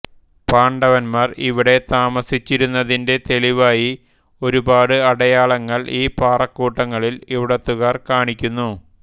പാണ്ഡവന്മാർ ഇവിടെ താമസിച്ചിരുന്നതിന്റെ തെളിവായി ഒരുപാട് അടയാളങ്ങൾ ഈ പാറക്കൂട്ടങ്ങളിൽ ഇവിടുത്തുകാർ കാണിക്കുന്നു